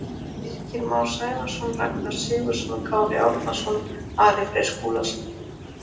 Birkir Már Sævarsson Ragnar Sigurðsson Kári Árnason Ari Freyr Skúlason